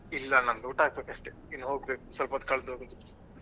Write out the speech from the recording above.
ಇಲ್ಲ ನಂದು ಊಟ ಆಗ್ಬೇಕಷ್ಟೇ ಇನ್ನು ಹೋಗ್ಬೇಕು ಸ್ವಲ್ಪ ಹೊತ್ತು ಕಳ್ದು ಹೋಗುದು.